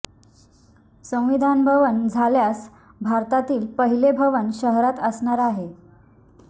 संविधान भवन झाल्यास भारतातील पहिले भवन शहरात असणार आहे